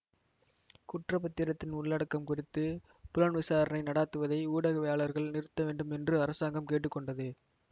குற்றப்பத்திரத்தின் உள்ளடக்கம் குறித்து புலன் விசாரணை நடாத்துவதை ஊடகவியலளர்கள் நிறுத்த வேண்டும் என்று அரசாங்கம் கேட்டு கொண்டது